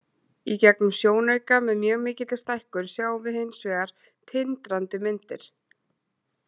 Í gegnum sjónauka, með mjög mikilli stækkun, sjáum við hins vegar tindrandi myndir.